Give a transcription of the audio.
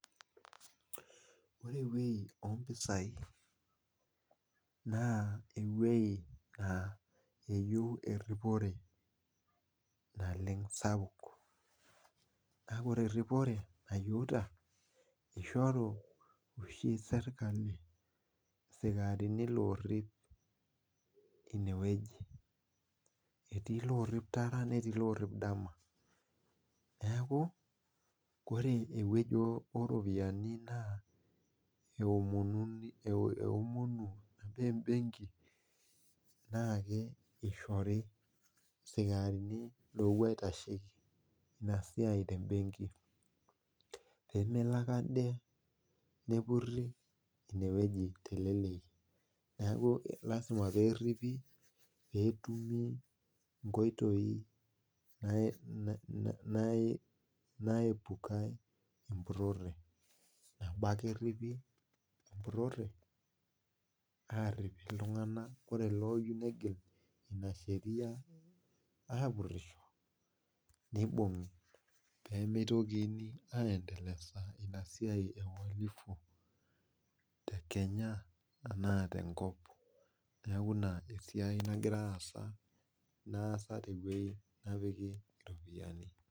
Ore eweji oompisai naa eweji neyieu eripore naleng sapuk, aa ore eripore nayieu naa kishoru sirkali sikarini oorip ineweji. etii loorip tara netii loorip dama ,neeku ore eweji ooropiyiani naa keomonu embenki pee eishori sikarini loopuo aitasheki ina siai tembenki peemelo ake ade nepuri ineweji teleleki. neeku lasima pee eripi pee eepukai empurore ,nabo ake eripi empurore ,arip iltunganak ore looyieu negil ina sheria aapurisho neibungi pee mitokini aendelea ina siai tekenya enaa tenkop neeku ina siai naasa teweji nepikita ropiyiani.